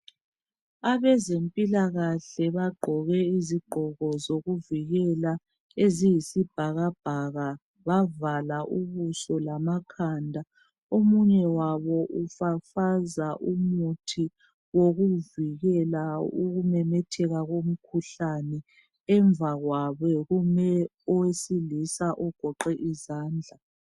Abezempilakahle bagqoke izigqoko zokuvikela eziyisibhakabhaka bavala ubuso lamakhanda omunye wabo ufafaza umuthi wokuvikela ukumemetheka komkhuhlane emva kwakhe kume owesilisa ogoqe isandla.